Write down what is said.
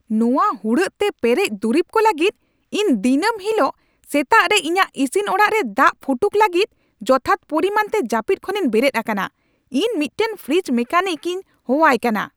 ᱱᱚᱶᱟ ᱦᱩᱲᱟᱹᱜ ᱛᱮ ᱯᱮᱨᱮᱡ ᱫᱩᱨᱤᱵ ᱠᱚ ᱞᱟᱹᱜᱤᱫ ᱤᱧ ᱫᱤᱱᱟᱹᱢ ᱦᱤᱞᱳᱜ ᱥᱮᱛᱟᱜ ᱨᱮ ᱤᱧᱟᱹᱜ ᱤᱥᱤᱱ ᱚᱲᱟᱜ ᱨᱮ ᱫᱟᱜ ᱯᱷᱩᱴᱩᱠ ᱞᱟᱹᱜᱤᱫ ᱡᱚᱛᱷᱟᱛ ᱯᱚᱨᱤᱢᱟᱱᱛᱮ ᱡᱟᱹᱯᱤᱫ ᱠᱷᱚᱱᱤᱧ ᱵᱮᱨᱮᱫ ᱟᱠᱟᱱᱟ ! ᱤᱧ ᱢᱤᱫᱴᱟᱝ ᱯᱷᱨᱤᱡᱽ ᱢᱮᱹᱠᱟᱱᱤᱠ ᱤᱧ ᱦᱚᱦᱚᱣᱟᱭ ᱠᱟᱱᱟ ᱾